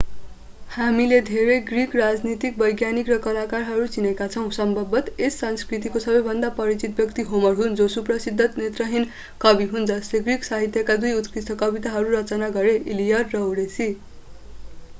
हामीले धेरै ग्रिक राजनीतिज्ञ वैज्ञानिक र कलाकारहरू चिनेका छौं सम्भवतः यस संस्कृतिको सबैभन्दा परिचित व्यक्ति होमर हुन् जो सुप्रसिद्ध नेत्रहीन कवि हुन् जसले ग्रिक साहित्यका दुई उत्कृष्ट कविता कृतिहरू रचना गरे इलियड र ओडेसी